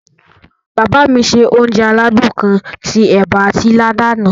Bàbá mi se onje aládún kan ti ẹ̀ba ati ilá lana.